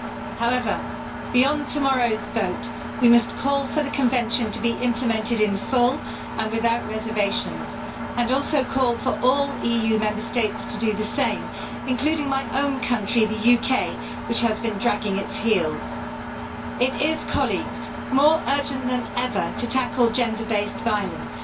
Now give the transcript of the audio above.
However, beyond tomorrow's vote, we must call for the Convention to be implemented in full and without reservations and also call for all EU Member States to do the same, including my own country, the UK, which has been dragging its heels. It is, colleagues, more urgent than ever to tackle gender based violence.